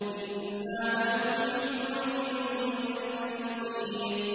إِنَّا نَحْنُ نُحْيِي وَنُمِيتُ وَإِلَيْنَا الْمَصِيرُ